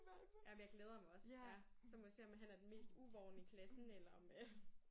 Ja men jeg glæder mig også ja. Så må vi om han er den mest uvorne i klassen eller om øh